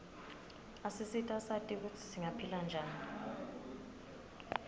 asisita sati kutsi singaphila njani